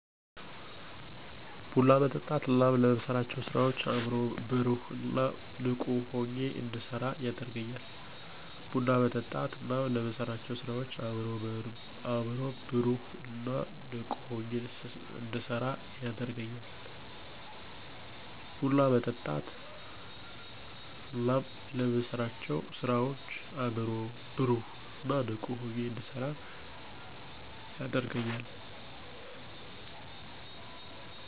ቡና መጠጣት እናም ለምሠራቸው ስራዎች አይምሮ በሩህ እን ንቁ ሁኜ እንድሰራ ያደርገኛል